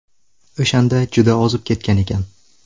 O‘shanda juda ozib ketgan ekan.